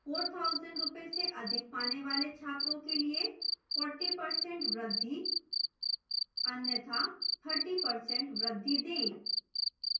4000 रूपये से अधिक पाने वाले छात्रों के लिए 40% वृद्धि अन्यथा 40% वृद्धि दें